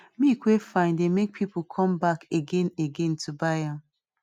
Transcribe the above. milk wey fine dey make people come back again again to buy am